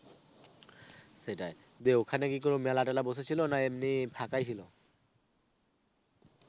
সেটাই. তো ওখানে কি কোনও মেলা টেলা বসেছিল নাকি এমনি ফাঁকাই ছিল?